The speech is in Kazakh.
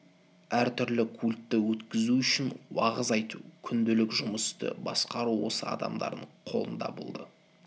әр түрлі культті өткізу уағыз айту күнделік жұмысты басқару осы адамдардың қолында болды